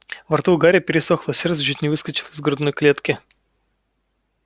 во рту у гарри пересохло сердце чуть не выскочило из грудной клетки